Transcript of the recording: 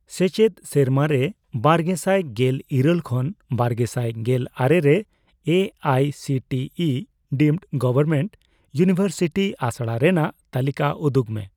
ᱥᱮᱪᱮᱫ ᱥᱮᱨᱢᱟᱨᱮ ᱵᱟᱨᱜᱮᱥᱟᱭ ᱜᱮᱞ ᱤᱨᱟᱹᱞ ᱠᱷᱚᱱ ᱵᱟᱨᱜᱮᱥᱟᱭ ᱜᱮᱞ ᱟᱨᱮ ᱨᱮ A I C T E deemed government university ᱟᱥᱲᱟ ᱨᱮᱱᱟᱜᱽ ᱛᱟᱹᱞᱤᱠᱟ ᱩᱫᱩᱜ ᱢᱮ ᱾